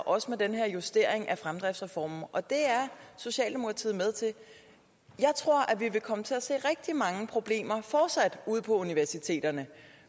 også med den her justering af fremdriftsreformen og det er socialdemokratiet med til at vi fortsat vil komme til at se rigtig mange problemer ude på universiteterne